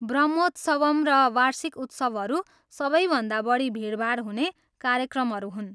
ब्रह्मोत्सवम् र वार्षिक उत्सवहरू सबैभन्दा बढी भिडभाड हुने कार्यक्रमहरू हुन्।